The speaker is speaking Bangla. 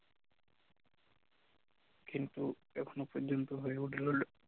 কিন্তু এখন পর্যন্ত হয়ে উঠল না